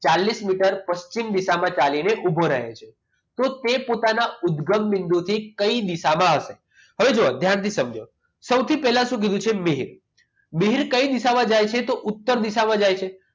ચાલિસ metre પશ્ચિમ દિશામાં ચાલીને ઉભો રહે છે તો તે પોતાના ઉદગમ બિંદુથી કઈ દિશામાં આવશે હવે જો ધ્યાનથી સમજો સૌથી પહેલા શું કીધું છે મિહિર મિહિર કઈ દિશામાં જાય છે તો ઉત્તર દિશામાં જાય છે